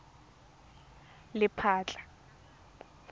lephatla